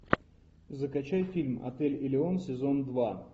закачай фильм отель элеон сезон два